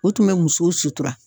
U tun bɛ musow sutura.